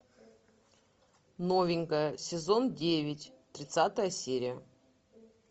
новенькая сезон девять тридцатая серия